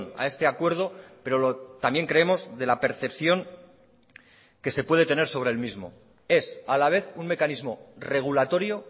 a este acuerdo pero también creemos de la percepción que se puede tener sobre el mismo es a la vez un mecanismo regulatorio